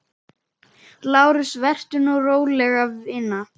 LÁRUS: Vertu nú róleg, vina.